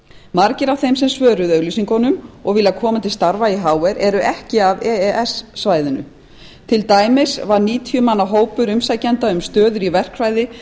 margir af þeim sem svöruðu auglýsingunum og vilja koma til starfa í hr eru ekki af e e s svæðinu til dæmis var níutíu manna hópur umsækjenda um stöður í verkfræði